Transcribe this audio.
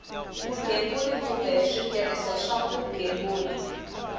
vugembuli kumbe switirhiso swa vugembuli